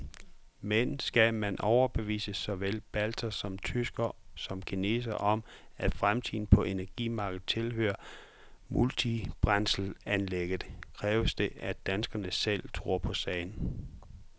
Men skal man overbevise såvel baltere og tyskere som kinesere om, at fremtiden på energimarkedet tilhører multibrændselsanlægget, kræver det, at danskerne selv tror på sagen.